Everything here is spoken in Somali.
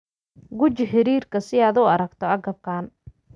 Guji xiriirka si aad u aragto agabkan.